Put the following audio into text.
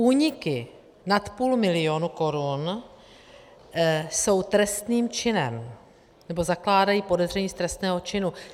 Úniky nad půl milionu korun jsou trestným činem, nebo zakládají podezření z trestného činu.